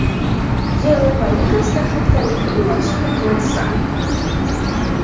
Yevropa Ligasida haftaning eng yaxshi futbolchisi aniqlandi.